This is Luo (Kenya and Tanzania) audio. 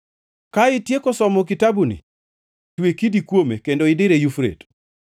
Ka itieko somo kitabuni, twe kidi kuome kendo idire Yufrate.